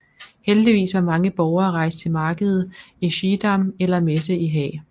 Heldigvis var mange borgere rejst til markedet i Schiedam eller messe i Haag